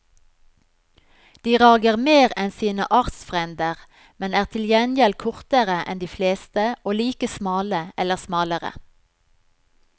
De rager mer enn sine artsfrender, men er til gjengjeld kortere enn de fleste og like smale eller smalere.